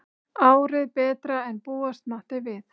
Árið betra en búast mátti við